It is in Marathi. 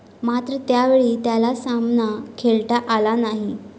मात्र त्यावेळी त्याला सामना खेळता आला नाही.